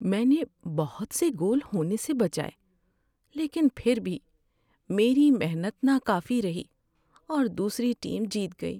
میں نے بہت سے گول ہونے سے بچائے لیکن پھر بھی میری محنت ناکافی رہی اور دوسری ٹیم جیت گئی۔